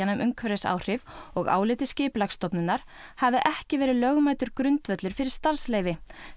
um umhverfisáhrif og áliti Skipulagsstofnunar hafi ekki verið lögmætur grundvöllur fyrir starfsleyfi